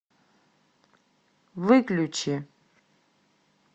выключи